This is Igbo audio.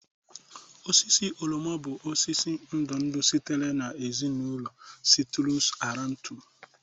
Osisi oroma bụ osisi ndụ ndụ sitere na ezinụlọ citrus aurantum